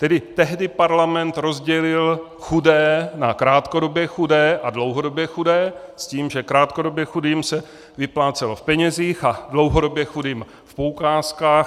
Tedy tehdy parlament rozdělil chudé na krátkodobě chudé a dlouhodobě chudé s tím, že krátkodobě chudým se vyplácelo v penězích a dlouhodobě chudým v poukázkách.